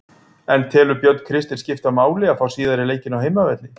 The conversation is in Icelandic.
En telur Björn Kristinn skipta máli að fá síðari leikinn á heimavelli?